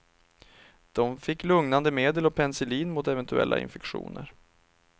De fick lugnande medel och penicillin mot eventuella infektioner.